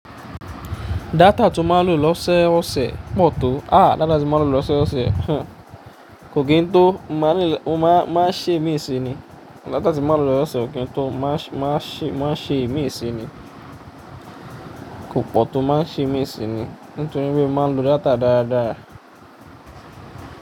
Data tí o máa ń lò lọ́sẹ̀ ọ̀sẹ̀ pọ̀ tó, a! Data tí mo máa ń lò lọ́sẹ̀ ọ̀sẹ̀, kò kí n tó máa ń ṣe ìmíì sí ni. Data tí mo máa ń lò lọ́sẹ̀ ọ̀sẹ̀ ò kí n tó máa ń ṣe ìmíì sín ni. Kò pọ̀ tó máa ṣe mẹ́ẹ̀sín ni. Nítorí pé mo máa ń lo data dáadáa.